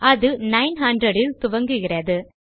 அது nine hundred இல் துவங்குகிறது